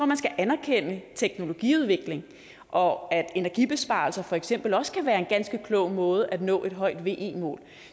man skal anerkende teknologiudvikling og at energibesparelser for eksempel også kan være en ganske klog måde at nå et højt ve mål